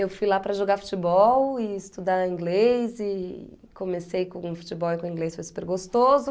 Eu fui lá para jogar futebol e estudar inglês e comecei com futebol e com inglês foi super gostoso.